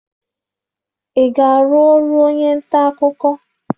Ị ga-arụ ọrụ onye nta akụkọ!